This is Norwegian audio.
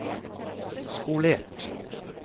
skolert